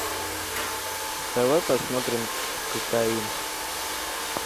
давай посмотрим кокаин